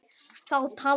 Þá taldi